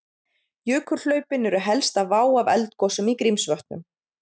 Jökulhlaupin eru helsta vá af eldgosum í Grímsvötnum.